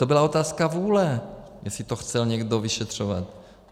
To byla otázka vůle, jestli to chtěl někdo vyšetřovat.